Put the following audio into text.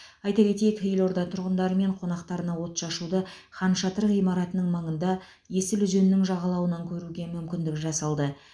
айта кетейік елорда тұрғындары мен қонақтарына отшашуды хан шатыр ғимаратының маңында есіл өзенінің жағалауынан көруге мүмкіндік жасалды